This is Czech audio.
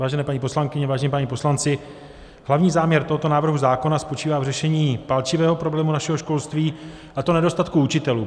Vážené paní poslankyně, vážení páni poslanci, hlavní záměr tohoto návrhu zákona spočívá v řešení palčivého problému našeho školství, a to nedostatku učitelů.